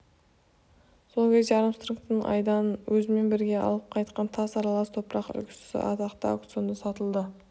сол кезде армстронгтың айдан өзімен бірге алып қайтқан тас аралас топырақ үлгісі атақты аукционында сатылды